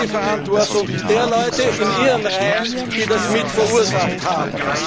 Das ist die Verantwortung derjenigen in Ihren Reihen, die das mit verursacht haben.